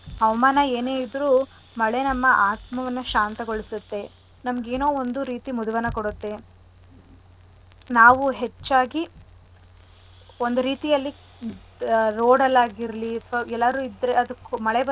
ಏನೇ ಇದ್ರು ಮಳೆ ನಮ್ಮ ಆತ್ಮವನ್ನ ಶಾಂತಗೊಳಿಸತ್ತೆ ನಮ್ಗ್ ಏನೋ ಒಂದು ರೀತಿ ಮುದವನ್ನ ಕೊಡತ್ತೆ ನಾವು ಹೆಚ್ಚಾಗಿ ಒಂದು ರೀತಿಯಲ್ಲಿ road ಅಲ್ ಆಗಿರ್ಲಿ ಅಥ್ವ ಎಲ್ಲರೂ ಆದ್ರೆ ಮಳೆ ಬಂದಾಗ.